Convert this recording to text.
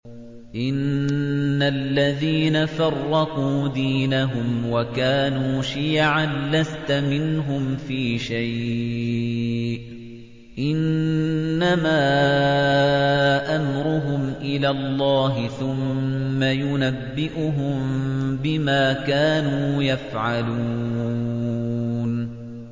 إِنَّ الَّذِينَ فَرَّقُوا دِينَهُمْ وَكَانُوا شِيَعًا لَّسْتَ مِنْهُمْ فِي شَيْءٍ ۚ إِنَّمَا أَمْرُهُمْ إِلَى اللَّهِ ثُمَّ يُنَبِّئُهُم بِمَا كَانُوا يَفْعَلُونَ